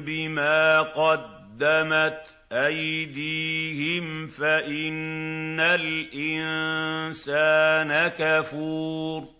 بِمَا قَدَّمَتْ أَيْدِيهِمْ فَإِنَّ الْإِنسَانَ كَفُورٌ